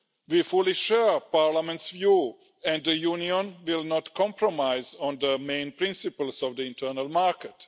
We fully share Parliament's view and the Union will not compromise on the main principles of the internal market.